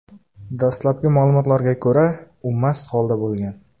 Dastlabki ma’lumotlarga ko‘ra, u mast holda bo‘lgan.